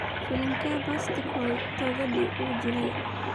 filimkee pascal tokodi uu jilay